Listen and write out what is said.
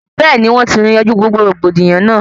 Bẹẹni wọn ti yanjú gbogbo rògbòdìyàn náà